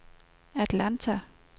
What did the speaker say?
Atlanta